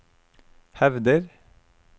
hevder